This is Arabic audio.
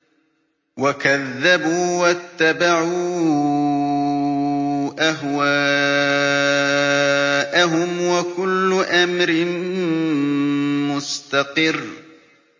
وَكَذَّبُوا وَاتَّبَعُوا أَهْوَاءَهُمْ ۚ وَكُلُّ أَمْرٍ مُّسْتَقِرٌّ